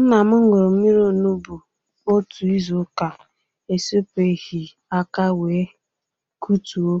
Nna m ṅụrụ mmiri onugbu otu izu ụka esepughi aka wee kụtuo